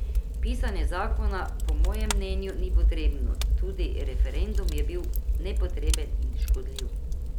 Pisanje zakona po mojem mnenju ni potrebno, tudi referendum je bil nepotreben in škodljiv.